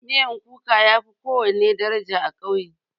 Miyan kuka yafi kowana miya daraja a ƙauye.